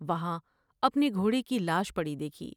وہاں اپنے گھوڑے کی لاش پڑی دیکھی ۔